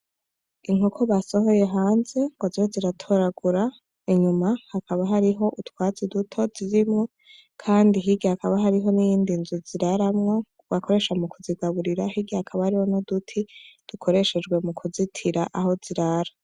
Inkoko basohoye hanze ngo zibe ziratorahura inyuma hakaba hariho utwatsi duto zirimwo , kandi hirya hakaba hariho n'iyindi nzu ziraramwo bakoresha mu kuzigaburira hirya hakaba hariyo n'uduti dukoreshejwe mu kuzitira aho zirara.